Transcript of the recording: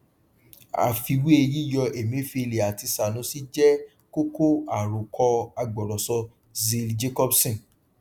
àfiwé yíyọ emefiele àti sanusi jẹ kókó àròkọ agbọrọsọ zeal jacobson